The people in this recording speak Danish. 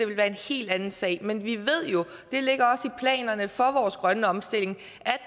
være en helt anden sag men vi ved jo og det ligger også i planerne for vores grønne omstilling